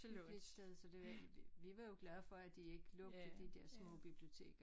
Hyggeligt sted så det var vi var jo glade for de ikke lukkede de dér små biblioteker